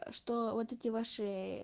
что вот эти ваши